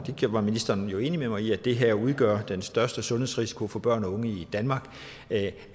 det var ministeren jo enig med mig i at det her udgør den største sundhedsrisiko for børn og unge i danmark